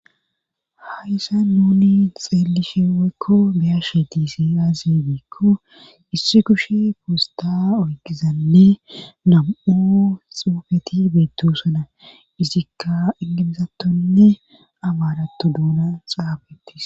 Hayssa nuni xeellishe woykko beyashe tiise aaze diikko issi kushe poosta oygizanne nam7u xoofeti beetosana isikka engemesattonne abaarato duunan xaafetis.